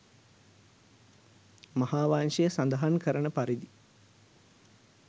මහාවංශය සඳහන් කරන පරිදි